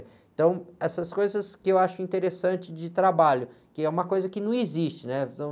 Então, essas coisas que eu acho interessante de trabalho, que é uma coisa que não existe, né? Então...